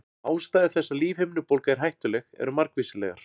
Ástæður þess að lífhimnubólga er hættuleg eru margvíslegar.